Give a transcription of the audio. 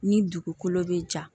Ni dugukolo bɛ ja